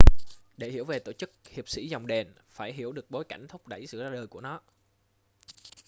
để hiểu về tổ chức hiệp sĩ dòng đền phải hiểu được bối cảnh thúc đẩy sự ra đời của nó